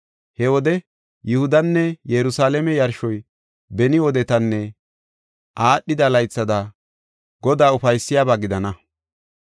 He wode Yihudanne Yerusalaame yarshoy beni wodetanne aadhida laythada Godaa ufaysiyaba gidana.